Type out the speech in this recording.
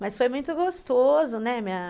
Mas foi muito gostoso, né? Minha